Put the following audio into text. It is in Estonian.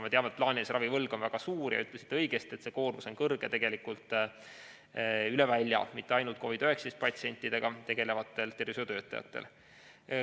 Me teame, et plaanilise ravi võlg on väga suur, te ütlesite õigesti, et see koormus on kõrge tegelikult üle välja, mitte ainult COVID‑19 patsientidega tegelevatel tervishoiutöötajatel.